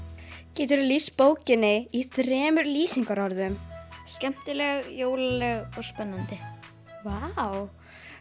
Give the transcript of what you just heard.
geturðu lýst bókinni í þremur lýsingarorðum skemmtileg jólaleg og spennandi vá